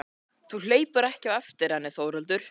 Þú hleypur ekki á eftir henni Þórhildur.